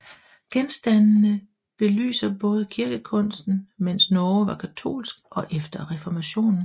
Genstandende belyser både kirkekunsten mens Norge var katolsk og efter reformationen